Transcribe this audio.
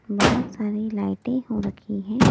बहुत सारी लाइटें हो रखी हैं।